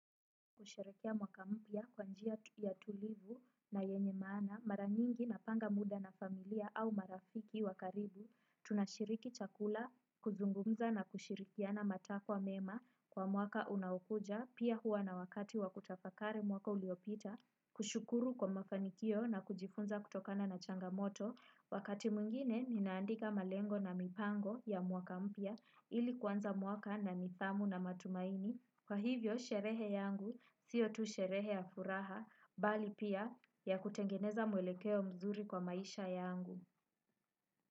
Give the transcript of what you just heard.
Kusherekea mwaka mpya kwa njia ya tulivu na yenye maana, mara nyingi napanga muda na familia au marafiki wa karibu, tunashiriki chakula, kuzungumza na kushirikiana matakwa mema kwa mwaka unaokuja, pia huwa na wakati wa kutafakari mwaka uliopita, kushukuru kwa mafanikio na kujifunza kutokana na changamoto, wakati mwingine ninaandika malengo na mipango ya mwaka mpya ili kuanza mwaka na nithamu na matumaini. Kwa hivyo, sherehe yangu siyo tu sherehe ya furaha, bali pia ya kutengeneza mwelekeo mzuri kwa maisha yangu.